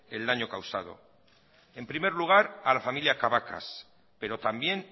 el daño causado en primer lugar a la familia cabacas pero también